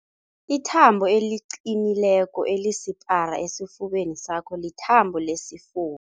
Ithambo eliqinileko elisipara esifubeni sakho lithambo lesifuba.